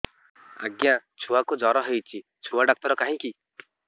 ଆଜ୍ଞା ଛୁଆକୁ ଜର ହେଇଚି ଛୁଆ ଡାକ୍ତର କାହିଁ କି